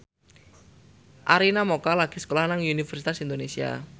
Arina Mocca lagi sekolah nang Universitas Indonesia